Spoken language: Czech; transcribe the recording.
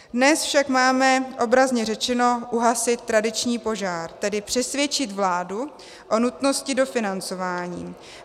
Dnes však máme obrazně řečeno uhasit tradiční požár, tedy přesvědčit vládu o nutnosti dofinancování.